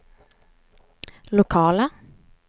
lokala